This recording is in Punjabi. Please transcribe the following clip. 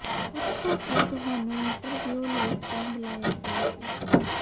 ਪੁੱਛੋ ਕਿ ਤੁਹਾਨੂੰ ਇੰਟਰਵਿਉ ਲਈ ਕਿਉਂ ਬੁਲਾਇਆ ਗਿਆ ਸੀ